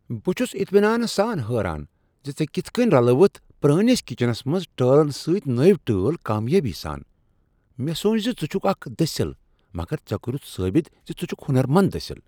بہٕ چھس اطمینانہ سان حیران ز ژےٚ کتھ کٔنۍ رلٲوِتھ پرٛٲنس کچنس منٛز ٹٲلن سۭتۍ نٔوۍ ٹٲل کامیٲبی سان۔ مےٚ سونچ ز چھُکھ اکھ دٔسٕل مگر ژےٚ کوٚرتھ ثٲبت زِ ژٕ چھُکھ ہنر مند دسل ۔